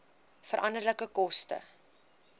veranderlike koste